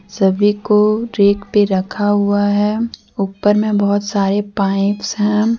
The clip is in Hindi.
सभी को रैक पे रखा हुआ है ऊपर मे बहुत सारे पाइप्स हैं।